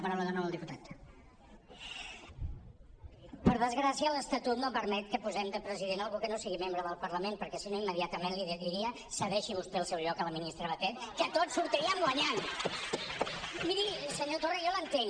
per desgràcia l’estatut no permet que posem de president algú que no sigui membre del parlament perquè si no immediatament li diria cedeixi vostè el seu lloc a la ministra batet que tots hi sortiríem guanyant miri senyor torra jo l’entenc